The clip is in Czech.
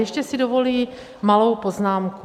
Ještě si dovoluji malou poznámku.